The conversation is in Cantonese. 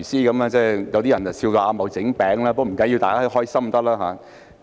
有些人笑他"阿茂整餅"，但不要緊，最重要是大家開心。